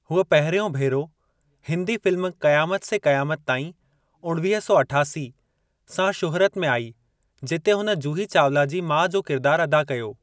हूअ पहिरियों भेरो हिन्दी फ़िल्म क़यामत से क़यामत ताईं (उणिवीह सौ अठासी) सां शुहिरत में आई जिते हुन जूही चावला जी माउ जो किरदार अदा कयो।